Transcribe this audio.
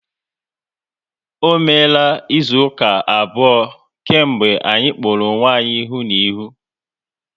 Ọ meela izu ụka abụọ kemgbe anyị kpọrọ onwe ya ihu na ihu